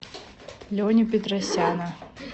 леню петросяна